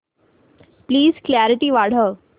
please clarity वाढव